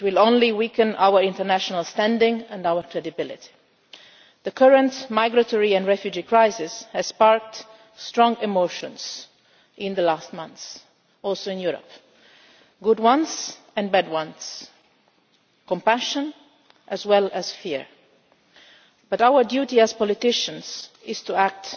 it will only weaken our international standing and our credibility. The current migratory and refugee crisis has sparked strong emotions in recent months, including in Europe good ones and bad ones, compassion as well as fear. But our duty as politicians is to act